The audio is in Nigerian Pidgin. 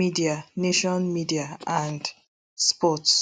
media nation media and sports